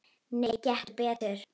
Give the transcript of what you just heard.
Nei, gettu betur